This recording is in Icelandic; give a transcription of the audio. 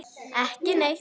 Ekki neitt